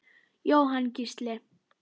Jóhann Gísli.